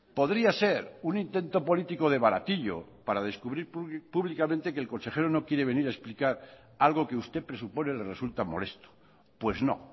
podría ser un intento político de baratillo para descubrir públicamente que el consejero no quiere venir a explicar algo que usted presupone le resulta molesto pues no